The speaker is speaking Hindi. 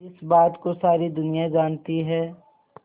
जिस बात को सारी दुनिया जानती है